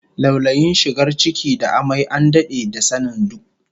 Laulayin shigar ciki da amai an dade da sanin du